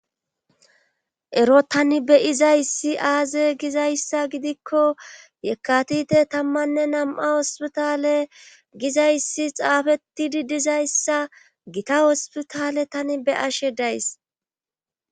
ero tani beyizayssi aaze gizayssa gidikko yekatite tammanne nam7a ospitale gizayssi xaafettidi dizayssa gita hospitale tani be ashe days